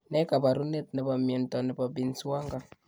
Ne kaabarunetap myenta ne po Binswanger?